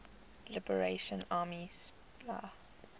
liberation army spla